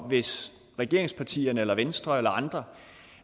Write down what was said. hvis regeringspartierne venstre eller andre